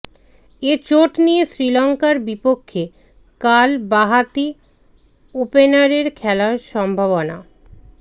এ চোট নিয়ে শ্রীলঙ্কার বিপক্ষে কাল বাঁহাতি ওপেনারের খেলার সম্ভাবনা